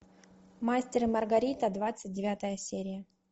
мастер и маргарита двадцать девятая серия